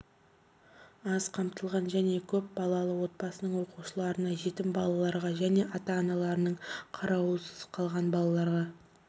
аз қамтылған және көп балалы отбасының оқушыларына жетім балаларға және ата аналарының қарауысыз қалған балаларға